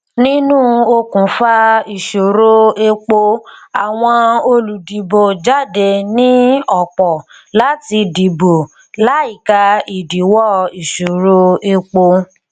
nínú òkùnfà ìṣòro epo àwọn olùdìbò jáde ní ọpọ láti dìbò láìka ìdíwọ ìṣòro epo